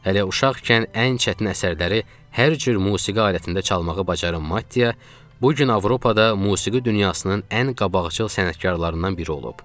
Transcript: Hələ uşaqkən ən çətin əsərləri hər cür musiqi alətində çalmağı bacaran Maddiya, bu gün Avropada musiqi dünyasının ən qabaqcıl sənətkarlarından biri olub.